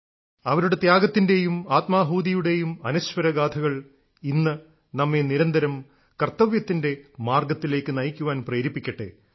അവരുടെ ത്യാഗത്തിന്റേയും ആത്മാഹൂതിയുടെയും അനശ്വരഗാഥകൾ ഇന്ന് നമ്മെ നിരന്തരം കർത്തവ്യത്തിന്റെ മാർഗ്ഗത്തിലേക്ക് നയിക്കാൻ പ്രേരിപ്പിക്കട്ടെ